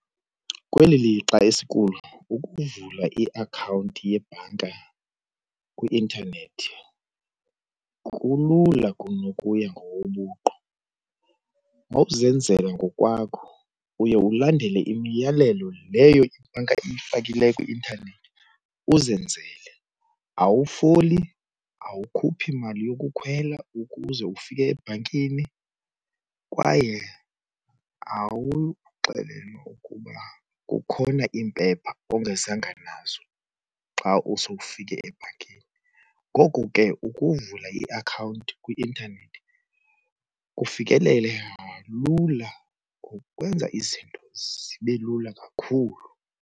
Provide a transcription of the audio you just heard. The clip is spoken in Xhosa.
Kweli lixa esikulo ukuvula iakhawunti yebhanka kwi-intanethi kulula kunokutya ngobuqu. mawuzenzela ngokwakho uye ulandele imiyalelo leyo ibhanka eyifakileyo kwi-intanethi uzenzele. Awufoli awukhuphi mali yokukhwela ukuze ufike ebhankini kwaye awuxelelwa ukuba kukhona iimpepha ongazange nazo xa sowufike ebhankini. Ngoko ke ukuvula iakhawunti kwi-intanethi kufikeleleka lula ukwenza izinto zibe lula kakhulu.